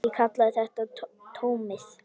Ég kalla þetta tómið.